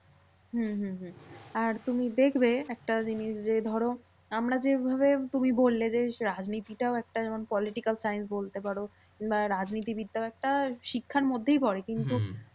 হম হম হম আর তুমি দেখবে একটাজিনিস যে ধরো আমরা যেইভাবে তুমি বললে যে, রাজনীতিটাও একটা যেমন political science বলতে পারো বা রাজনীতি বিদ্যা একটা শিক্ষার মধ্যেই পরে। কিন্তু